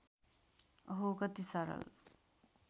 अहो कति सरल